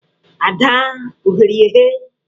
Ada o ghere ya eghe!